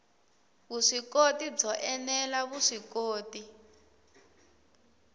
vuswikoti byo ene la vuswikoti